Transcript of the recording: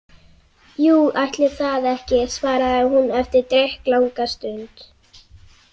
Jú, ætli það ekki, svaraði hún eftir drykklanga stund.